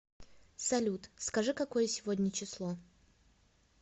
салют скажи какое сегодня число